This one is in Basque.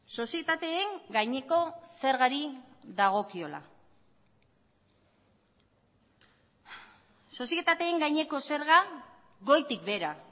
sozietateen gaineko zergari dagokiola sozietateen gaineko zerga goitik behera